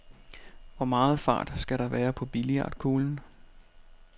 Hvor meget fart skal der være på billiardkuglen?